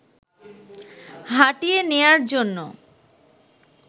হাঁটিয়ে নেওয়ার জন্য